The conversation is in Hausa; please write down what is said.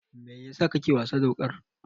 Mai yasa kake wasa da wuƙar?